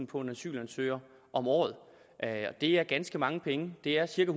på en asylansøger om året det er ganske mange penge det er cirka